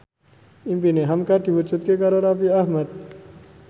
impine hamka diwujudke karo Raffi Ahmad